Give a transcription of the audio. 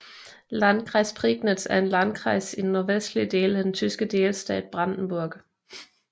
Landkreis Prignitz er en landkreis i den nordvestlige del af den tyske delstat Brandenburg